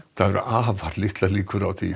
það eru afar litlar líkur á því